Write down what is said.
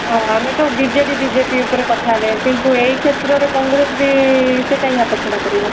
ହଁ ଆମେ ତ ବିଜେଡି ବିଜେପି ଉପରେ କଥା ଆସେ କିନ୍ତୁ ଏଇ କ୍ଷେତ୍ର ରେ କଂଗ୍ରେସ ବି ସେ କାଇଁ ହାତ ଛଡା କରିବ